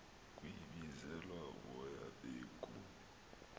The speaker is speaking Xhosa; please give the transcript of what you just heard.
kwebizelwa uboya beegu